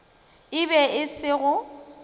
e be e se go